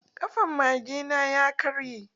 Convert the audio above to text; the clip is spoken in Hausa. Ƙafan mage na ya karye.